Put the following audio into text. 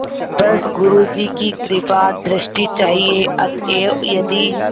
बस गुरु जी की कृपादृष्टि चाहिए अतएव यदि